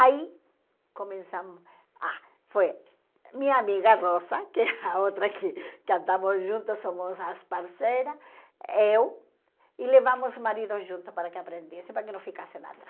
Aí, começamos ah foi minha amiga Rosa, que é a outra que que andamos juntas, somos as parceiras, eu, e levamos o marido junto para que aprendessem, para que não ficassem atrás.